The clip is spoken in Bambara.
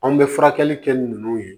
Anw bɛ furakɛli kɛ ninnu ye